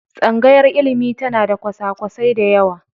tsangayar ilimi tana da kwasa-kwasai da yawa.